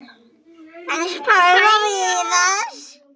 Hans Pálma Viðars.